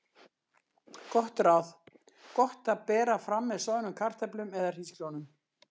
Gott ráð: Gott að bera fram með soðnum kartöflum eða hrísgrjónum.